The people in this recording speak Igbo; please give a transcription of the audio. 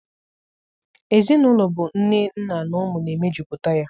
Ezinaụlọ bụ nne, nna na ụmụ na emejuputa ya.